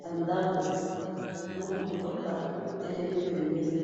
ya ndambo, na motoka etelemi pembeni